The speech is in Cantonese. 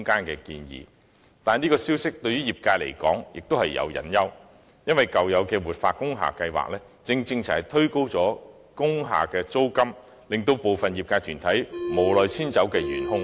可是，對業界而言，這項建議也有隱憂，因為舊有的活化工廈計劃，正正就是推高工廈租金、令部分業界團體無奈遷出工廈的元兇。